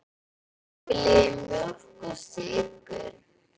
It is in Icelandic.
Hann uppgötvaði nýja reikistjörnu!